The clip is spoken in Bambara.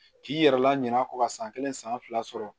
K'i yɛrɛ laɲina kɔ ka san kelen san fila sɔrɔ